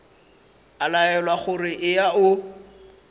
a laelwa gore eya o